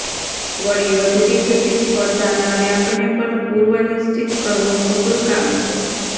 વળી વધતી જતી સ્પર્ધાના વ્યાપને પણ પૂર્વનિશ્ચિત કરવો કપરું કામ છે